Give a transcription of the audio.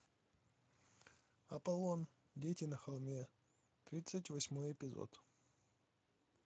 аполлон дети на холме тридцать восьмой эпизод